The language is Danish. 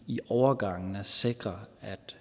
i overgangen sikrer